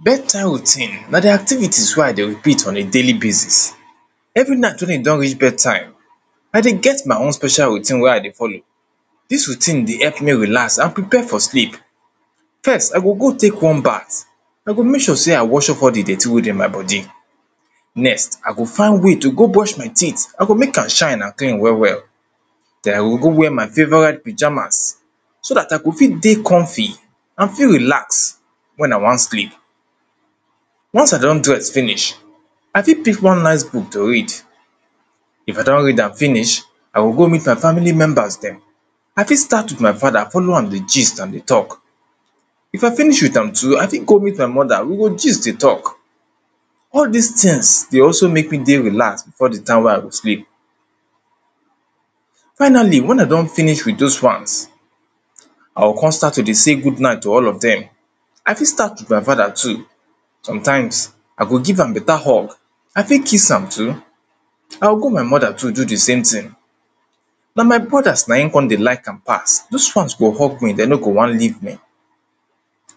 Bed time routines na di activities wey I dey repeat on a daily basis Every night, wey e don reach bed time, I dey get my own special routine wey i dey follow Dis routine dey help me relax and prepare for sleep. First I go go take warm bath I go make sure sey I wash up all di dirty wey dey my body Next I go find way to go brush my teeth, I go make am shine and clean well well then I go go wear my favourite pijamas, so dat I go fit dey comfy and feel relax wen I wan sleep. Once I don dress finish I fit pick one nice book to read. If I don read am finish, I go go meet my family members dem I fit start with my brother, follow am dey gist and dey talk if I finish with am too, I fit go meet my mother we go gist dey talk All dis things dey also make me dey relax before di time wey I go sleep Finally wen I don finish with those ones I go come start to dey sey good night to all of dem I fit start with my father too. Sometimes I go give am better hug I fit kiss am too, i go my mother too do di same thing Na my brothers na come dey like am pass. Those ones go hug me dem no go wan live me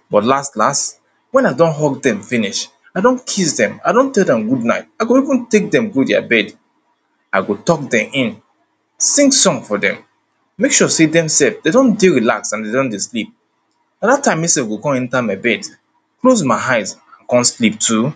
but last last wen I don hug dem finish, I don kiss dem, I don tell dem good night, I go even take dem go their bed I go tuck dem in, sing song for dem make sure sey dem self dem don dey relax and dem don dey sleep na dat time me self go come enter my bed close my eyes come sleep too